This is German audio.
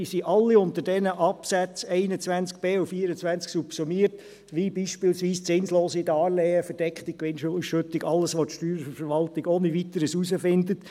Diese sind alle unter diesen Absätzen 21b und 24 subsumiert, wie beispielsweise zinslose Darlehen, verdeckte Gewinnausschüttung, alles, was die Steuerverwaltung ohne Weiteres herausfindet.